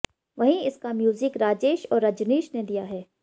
वहीं इसका म्यूजिक राजेश और रजनीश ने दिया है